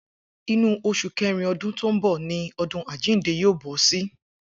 Inú os̩ù ké̩rin o̩dún tó ń bò̩ ni o̩dún àjíǹde yóò bó̩ sí